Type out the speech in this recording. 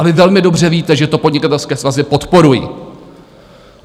A vy velmi dobře víte, že to podnikatelské svazy podporují.